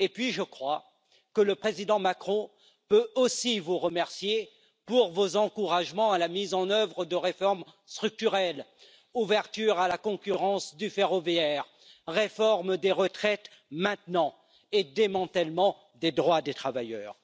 Je crois que le président Macron peut aussi vous remercier pour vos encouragements à la mise en œuvre de réformes structurelles ouverture à la concurrence du ferroviaire, réforme des retraites maintenant et démantèlement des droits des travailleurs.